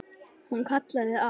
Hún kallaði á